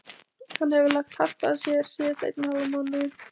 Hann hefur lagt hart að sér síðasta einn og hálfan mánuðinn.